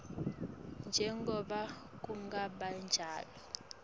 njengobe kungaba njalo